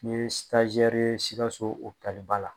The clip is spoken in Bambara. N ye ye Sikaso ba la.